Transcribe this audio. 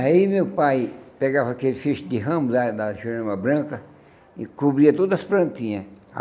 Aí meu pai pegava aquele ficho de ramo né da jurema branca e cobria todas as plantinhas.